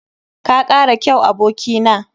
Ka kara kyau, aboki na.